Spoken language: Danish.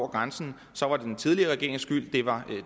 grænsen så var det den tidligere regerings skyld det var